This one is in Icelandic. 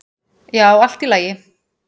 """Já, allt í lagi."""